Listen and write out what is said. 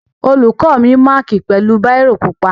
Olùkó mi mákì pẹ̀lú báírò pupa.